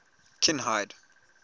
kinhide